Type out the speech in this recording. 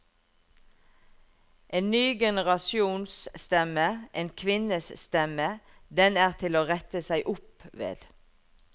En ny generasjons stemme, en kvinnes stemme, den er til å rette seg opp ved.